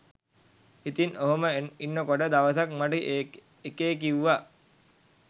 ඉතින් ඔහොම ඉන්නකොට දවසක් මට එකේ කිවුවා